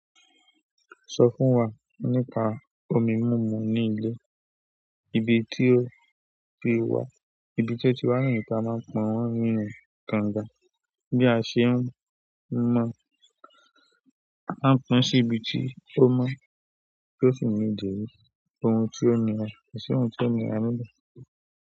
Sọ fún wa nípa omi mumú ní ilé. Ibi tí ó ti wà, ibi tí ó ti wà ní ìta máa ń pọ̀n wọ́n nínú kànga bí a ṣe ń mọ̀. A ń pọn sí ibi tí ó mọ́ tó sì ni dèri. Ohun tí omi rẹ̀, èṣì ohun tí omi rẹ̀ á lò.